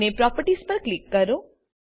અને પ્રોપર્ટીઝ પર ક્લિક કરો